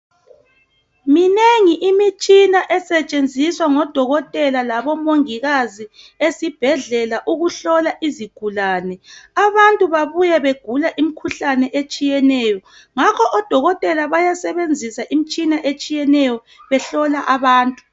Minengi imitshina esetshenziswa ngodokothela labomongikazi esibhedlela ukuhlola izigulane. Abantu babuya begula imikhuhlane etshiyeneyo, ngakho odokothela bayasebenzisa imitshina etshiyeneyo behlola abantu.